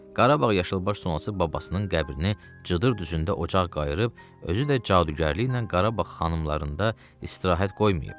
Qarabağ yaşılbaş sonası babasının qəbrini Cıdır düzündə ocaq qayıırıb, özü də cadugərliklə Qarabağ xanımlarında istirahət qoymayıb.